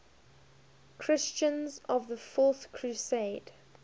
christians of the fourth crusade